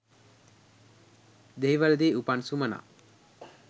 දෙහිවලදී උපන් සුමනා